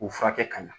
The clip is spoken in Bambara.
U furakɛ ka ɲa